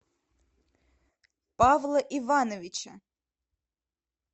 павла ивановича